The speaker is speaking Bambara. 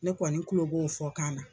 Ne kɔni kulo b'o fɔkan na.